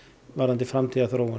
varðandi framtíðarþróun